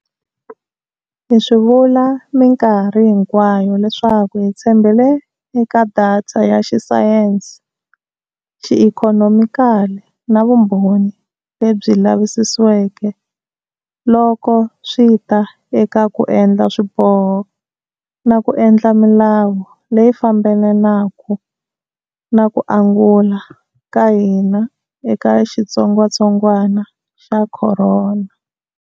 Hi swi vula minkarhi hinkwayo leswaku hi tshembele eka data ya xisayense, xiikhonomikali na vumbhoni lebyi lavisisiweke loko swi ta eka ku endla swiboho na ku endla milawu leyi fambelanaka na ku angula ka hina eka xitsongwatsongwana xa corona.